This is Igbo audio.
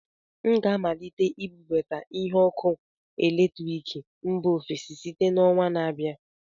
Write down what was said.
M ga-amalite ibubata ihe ọkụ eletrik mba ofesi site na ọnwa na-abịa